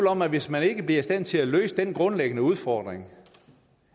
om at hvis man ikke bliver i stand til at løse den grundlæggende udfordring